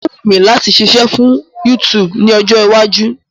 Ó wù mí láti ṣiṣẹ́ fún YouTube ní ọjọ́ iwájú.